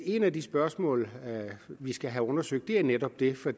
et af de spørgsmål vi skal have undersøgt er netop det for